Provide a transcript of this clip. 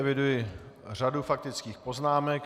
Eviduji řadu faktických poznámek.